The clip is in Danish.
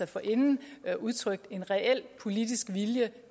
forinden har udtrykt en reel politisk vilje